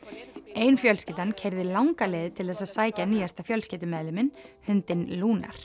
ein fjölskyldan keyrði langa leið til þess að sækja nýjasta fjölskyldumeðliminn hundinn